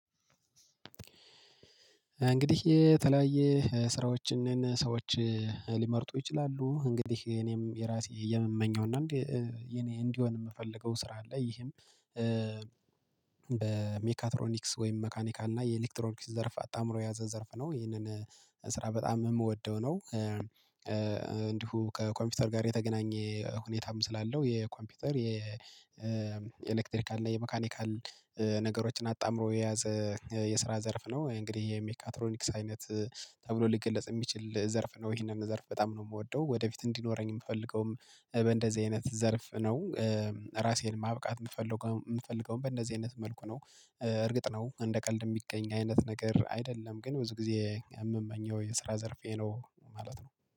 እንግዲህ የተለያየ ስራዎችን ሰዎች ሊመርጡ ይችላሉ። እንግዲህ እኔም የራሴ የምመኘው እና እኔ እንዲሆን የምፈልገው ስራ አለ። ይሄም በሜካትሮኒክስ ወይም መካኒካ እና የኤሌክትሮኒክስ ዘርፍ አጣምሮ ያዘ ዘርፍ ነው። ይህንን ስራ በጣም የምወደው ነው። እንዲሁ ከኮምፒውተር ጋር የተገናኘ ሁኔታም ስላለው። የኮምፒውተር የኤሌክትሪካል እና የመካኒካል ነገሮችን አጣምሮ የያዘ የስራ ዘርፍ ነው። እንግዲህ የሜካትሮኒክስ አይነት ተብሎ ሊገለጽ የሚችል ዘርፍ ነው። ይሄንን ዘርፍ በጣም ነው የምወደው። ወደፊት እንዲኖረኝ የምፈልገውም በእንደዚህ አይነት ዘርፍ ነው። ራሴን ማብቃት የምፈልገውን በእንደዚህ አይነት መልኩ ነው። እርግጥ ነው እንደ ቀልድ የሚገኝ አይነት ነገር አይደለም። ግን ብዙ ጊዜ የምመኘው የስራ ዘርፌ ነው ማለት ነው።